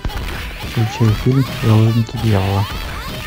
включай фильм заложники дьявола